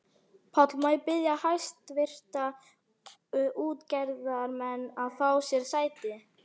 PÁLL: Má ég biðja hæstvirta útgerðarmenn að fá sér sæti.